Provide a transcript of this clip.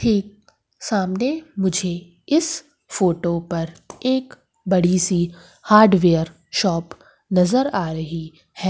ठीक सामने मुझे इस फोटो पर एक बड़ीसी हार्डवेयर शॉप नजर आ रही हैं।